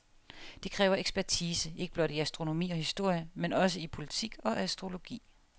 Det kræver ekspertise ikke blot i astronomi og historie, men også i politik og astrologi.